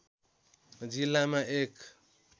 जिल्लामा एक